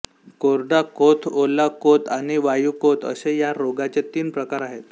कोरडा कोथ ओला कोथ आणि वायू कोथ असे या रोगाचे तीन प्रकार आहेत